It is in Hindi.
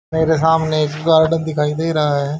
मेरे सामने एक गार्डन दिखाई दे रहा है।